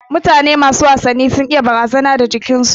Mutane masu wasannin gina jiki sun iya barazana da yanayin jikin su